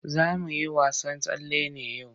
Za mu yi wasan tsalle yau.